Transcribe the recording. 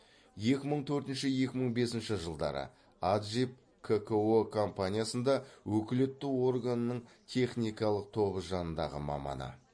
екі мың төртінші екі мың бесінші жылдары аджип кко компаниясында өкілетті органының техникалық тобы жанындағы маманы